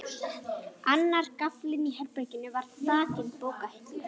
Annar gaflinn í herberginu var þakinn bókahillum.